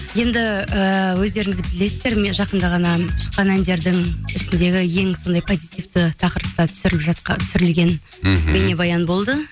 енді ііі өздеріңіз білесіздер жақында ғана шыққан әндердің ішіндегі ең сондай позитивті тақырыпта түсірілген мхм бейнебаян болды